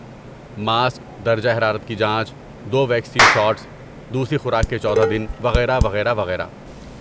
mask, درجہ حرارت کی جانچ، دو ویکسین شاٹس، دوسری خوراک کے چودہ دن، وغیرہ وغیرہ وغیرہ